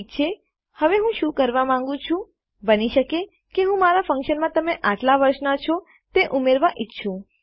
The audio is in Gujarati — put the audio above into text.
ઠીક છે હવે હું શું કરવા માંગું છું બની શકે કે હું કે મારા ફન્કશનમાં તમે આટલા વર્ષના છો તે ઉમેરવા ઈચ્છું